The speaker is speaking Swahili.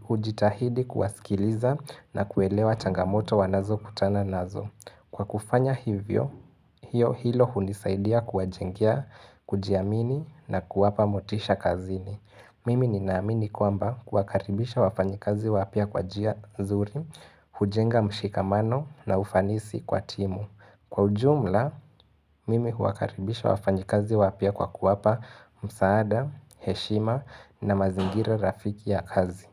hujitahidi kuwasikiliza na kuelewa changamoto wanaz kutana nazo. Kwa kufanya hivyo, hiyo hilo hunisaidia kwa jengea, kujiamini na kuwapa motisha kazini. Mimi ninaamini kwamba kuakaribisha wafanyikazi wapya kwa njia zuri, hujenga mshikamano na ufanisi kwa timu. Kwa ujumla, mimi huwakaribisha wafanyi kazi wapya kwa kuwapa msaada, heshima na mazingira rafiki ya kazi.